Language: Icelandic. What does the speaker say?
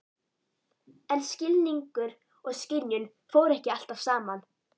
En skilningur og skynjun fóru ekki alltaf saman.